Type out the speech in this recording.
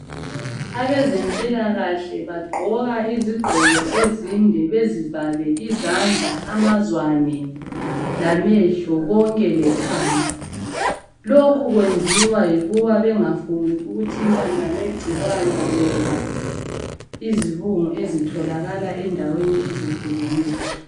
Abezempilakahle bagqoka izigqoko ezinde bezivale izandla, amazwane lamehlo konke lekhanda. Lokhu kwenziwa yikuba bengafuni ukuthintana legcikwana loba izibungu ezitholakala endaweni ezehlukeneyo